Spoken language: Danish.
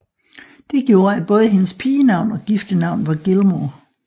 Det gjorde at både hendes pigenavn og giftenavn var Gilmore